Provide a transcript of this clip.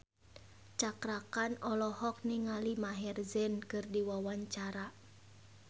Cakra Khan olohok ningali Maher Zein keur diwawancara